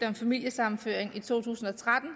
om familiesammenføring i to tusind og tretten